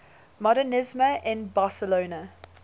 modernisme in barcelona